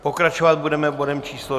Pokračovat budeme bodem číslo